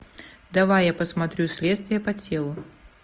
давай я посмотрю следствие по телу